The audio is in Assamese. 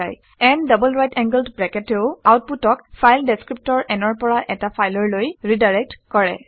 n double right angled bracket এও আউটপুটক ফাইল ডেচক্ৰিপ্টৰ n ৰ পৰা এটা ফাইললৈ ৰিডাইৰেক্ট কৰে